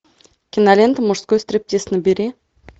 кинолента мужской стриптиз набери